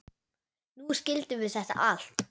Nú skildum við þetta allt.